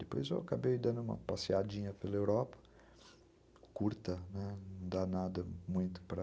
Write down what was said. Depois eu acabei dando uma passeadinha pela Europa, curta, não dá nada muito para...